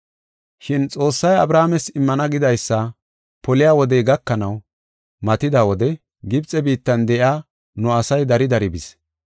“Shin Xoossay Abrahaames immana gidaysa poliya wodey gakanaw matida wode Gibxe biittan de7iya nu asay dari dari bis.